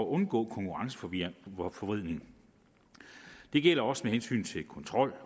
undgå konkurrenceforvridning det gælder også med hensyn til kontrol